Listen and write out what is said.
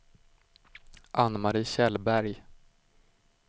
Anne-Marie Kjellberg